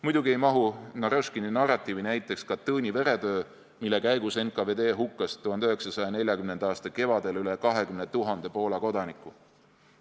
Muidugi ei mahu Narõškini narratiivi näiteks Katõni veretöö, mille käigus NKVD hukkas 1940. aasta kevadel üle 20 000 Poola kodaniku.